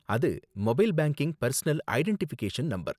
அது mobile banking personal identification number.